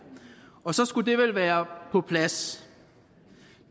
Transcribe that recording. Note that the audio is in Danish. og så skulle det vel være på plads